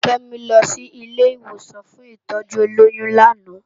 Kemi lò si ilé iwósàn fún itòjú ólóyùn làná